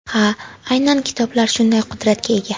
Ha, aynan kitoblar shunday qudratga ega.